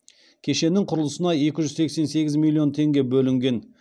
кешеннің құрылысына екі жүз сексен сегіз миллион теңге бөлінген